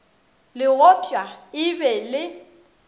le gopšwa e be le